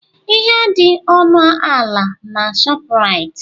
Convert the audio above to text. Ihe adị ọnụ ala na Shọpraịt?